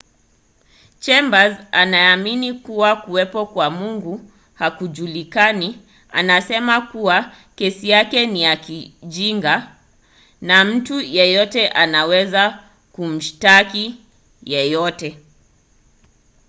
chambers anayeamini kuwa kuwepo kwa mungu hakujulikani anasema kuwa kesi yake ni ya kijinga” na mtu yeyote anaweza kumshtaki yeyote.